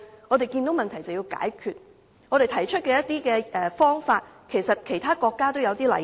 我們看到問題，便應該要解決，而我們提出的方法在其他國家也有類似例子。